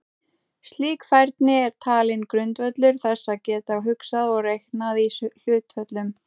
Slík færni er talin grundvöllur þess að geta hugsað og reiknað í hlutföllum.